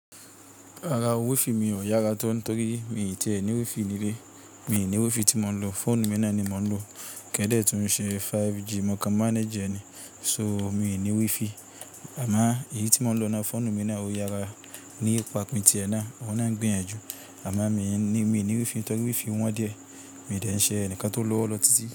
Rara o wifi mi ò yára to torí mi i tí è ní wifi ní ilé. Mi ò ní wifi tí mò ń lò. Fóònù mi náà ni mò ń lò. Kẹ́dẹ̀ tí ń ṣe 5G, mò ń kan manage ẹ ni. So, mi ò ní wifi. Àmáà èyí tí mò ń lò ni á fóònù mi náà ò yára. Ní ipá ti ti ẹ náà, ohun náà ń gbin yàn ju. Àmo mi i ní wifi nitorí wifi wọn díẹ̀. Mi i dẹ̀ ń ṣe ẹnìkan tó lọ́wọ́ lọ títí.